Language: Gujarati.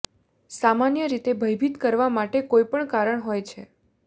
સામાન્ય રીતે ભયભીત કરવા માટે કોઈ કારણ હોય છે